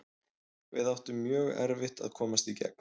Við áttum mjög erfitt að komast í gegn.